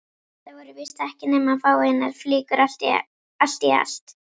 Þetta voru víst ekki nema fáeinar flíkur allt í allt.